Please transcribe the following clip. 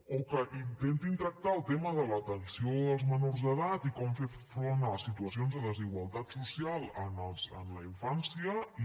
o que intentin tractar el tema de l’atenció als menors d’edat i com fer front a les situacions de desigualtat social en la infància i